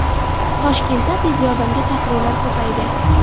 Toshkentda tez yordamga chaqiruvlar ko‘paydi.